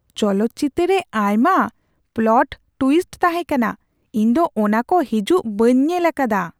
ᱪᱚᱞᱚᱛ ᱪᱤᱛᱟᱹᱨ ᱨᱮ ᱟᱭᱢᱟ ᱯᱞᱚᱴ ᱴᱣᱤᱥᱴ ᱛᱟᱦᱮ ᱠᱟᱱᱟ ! ᱤᱧ ᱫᱚ ᱚᱱᱟᱠᱩ ᱦᱤᱡᱩᱜ ᱵᱟᱹᱧ ᱧᱮᱞ ᱟᱠᱟᱫᱟ ᱾